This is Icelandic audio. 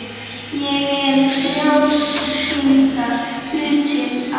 Ég er frjálslyndari hlutinn af þér.